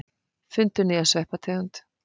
Fundu nýja sveppategund